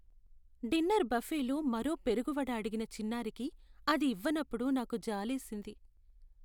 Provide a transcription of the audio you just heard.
Dinner బఫేలో మరో పెరుగు వడ అడిగిన చిన్నారికి అది ఇవ్వనప్పుడు నాకు జాలేసింది.